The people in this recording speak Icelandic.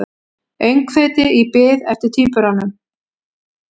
Öngþveiti í bið eftir tvíburunum